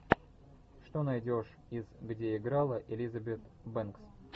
что найдешь из где играла элизабет бэнкс